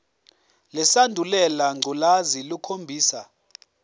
lesandulela ngculazi lukhombisa